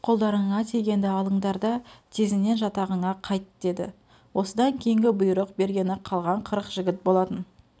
қолдарыңа тигенді алындар да тезінен жатағыңа қайт деді осыдан кейінгі бұйрық бергені қалған қырық жігіт болатын